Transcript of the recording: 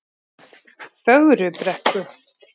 Fögrubrekku